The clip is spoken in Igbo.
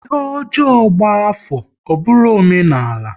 Ihe ọjọọ gba afọ, ọ bụrụ omenala